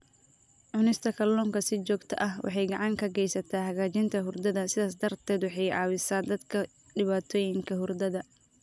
Cunista kalluunka si joogto ah waxay gacan ka geysataa hagaajinta hurdada, sidaas darteed waxay caawisaa dadka dhibaatooyinka hurdada.